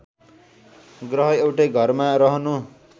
ग्रह एउटै घरमा रहनु